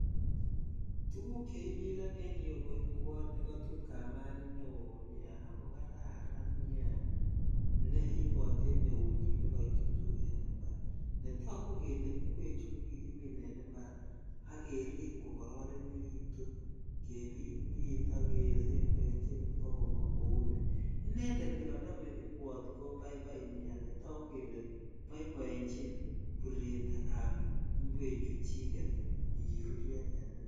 Tuguk cheimilon en yuu ko ingwot nekotut kamani neo nie ako kararan nia nebote en eunyin nekatutu en impar netogu kele ingwechu ko kikinim ak kerib kokoronekitun kebitbit a kesembechi bagommong ko ni inended nekonome ingwot ko bsibai nie netogu kele boiboechin ruret ab ingwechuchket chu kiruryo en impar